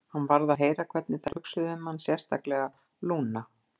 Hann varð að heyra hvernig þær hugsuðu um hann, sérstaklega Lúna.